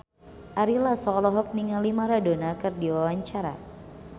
Ari Lasso olohok ningali Maradona keur diwawancara